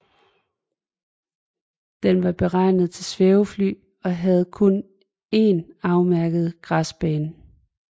Den var beregnet til svævefly og havde kun en afmærket græsbane